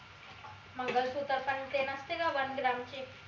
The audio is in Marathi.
मंगलसूत्र पण ते नसते का onegram चे